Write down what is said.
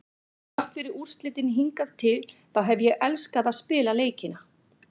Þrátt fyrir úrslitin hingað til þá hef ég elskað að spila leikina.